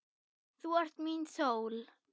Þú ert mín sól.